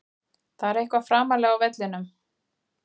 Það er eitthvað framarlega á vellinum.